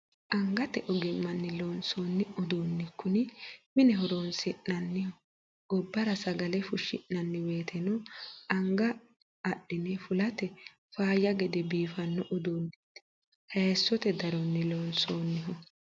Angate ogimani loonsonni uduuni kuni mine horonsi'nanniho gobbara sagale fushi'nanni woyteno anga adhine fulate faayya gede biifano uduuneti hayisote daroni loonsoniho.